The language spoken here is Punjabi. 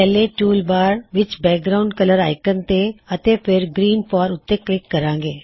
ਪਹਿਲੇ ਟੂਲ ਬਾਰ ਵਿਚ ਬੈਕਗਰਾਉਨਡ ਕਲਰ ਆਇਕੋਨ ਤੇ ਅਤੇ ਫੇਰ ਗ੍ਰੀਨ 4 ਉੱਤੇ ਕਲਿਕ ਕਰੋ